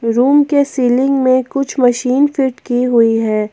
Room के ceiling में कुछ मशीन फिट की हुई है।